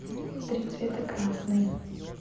три цвета красный